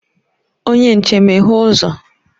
Onye nche, meghee uzo!